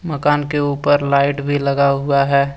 मकान के ऊपर लाइट भी लगा हुआ है।